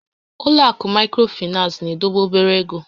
Ụlọ àkụ̀ Maịkrofinans na-edobe obere égo